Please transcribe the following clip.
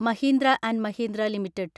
Mahindra and Mahindra limited